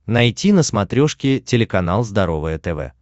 найти на смотрешке телеканал здоровое тв